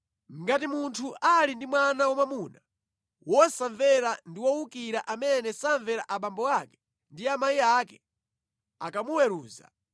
Ngati munthu ali ndi mwana wamwamuna wosamvera ndi wowukira amene samvera a abambo ake ndi amayi ake akamuweruza,